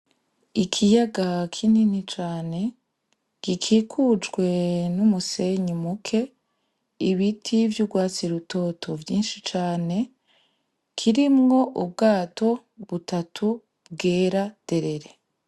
Ikiyaga kinini cane gikikujwe n'umusenyi muke ibiti vy'ugwatsi rutoto vyinshi cane kirimwo ubwato butatu bwera derere